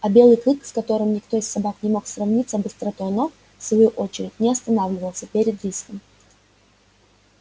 а белый клык с которым никто из собак не мог сравниться быстротой ног в свою очередь не останавливался перед риском